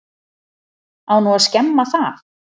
Á nú að skemma það?